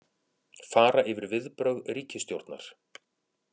Fara yfir viðbrögð ríkisstjórnar